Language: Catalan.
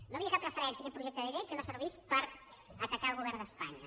no hi havia cap referència a aquest projecte de llei que no servís per atacar el govern d’espanya